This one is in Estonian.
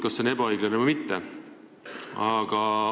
Kas see on ebaõiglane või mitte?